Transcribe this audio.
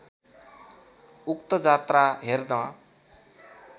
उक्त जात्रा हेर्न